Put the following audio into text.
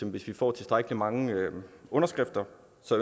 at hvis vi får tilstrækkelig mange underskrifter